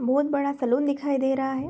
बहोत बड़ा सैलून दिखाई दे रहा है।